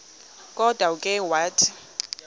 kodwa ke wathi